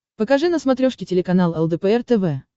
покажи на смотрешке телеканал лдпр тв